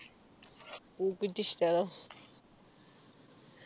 പൂക്കുറ്റി ഇഷ്ടമാണോ